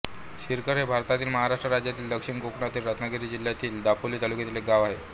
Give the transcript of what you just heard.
शिरखल हे भारतातील महाराष्ट्र राज्यातील दक्षिण कोकणातील रत्नागिरी जिल्ह्यातील दापोली तालुक्यातील एक गाव आहे